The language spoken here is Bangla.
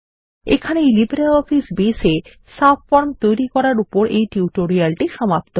এই লিব্রিঅফিস বেস এ সাবফর্মস তৈরী করার উপর এই টিউটোরিয়ালটি সমাপ্ত হল